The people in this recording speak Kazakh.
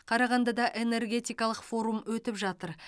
қарағандыда энергетикалық форум өтіп жатыр